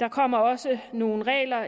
der kommer også nogle regler